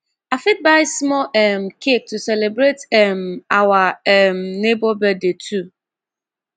i fit buy small um cake to celebrate um our um neighbor birthday too